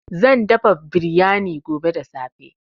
Zan dafa biryani gobe da safe.